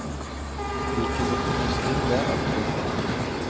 De kunne finne stunder av trygghet.